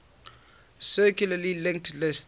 circularly linked list